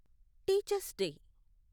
teachers day